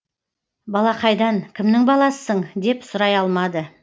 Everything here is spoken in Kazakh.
балақайдан кімнің баласысың деп сұрай алмады